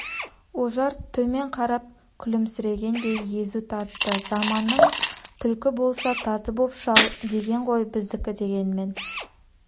ожар төмен қарап күлімсірегендей езу тартты заманың түлкі болса тазы боп шал деген ғой біздікі дегенмен